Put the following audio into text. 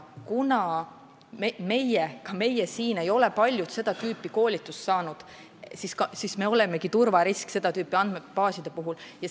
Kuna paljud ka meist siin ei ole sellist koolitust saanud, siis me olemegi seda tüüpi andmebaaside puhul turvarisk.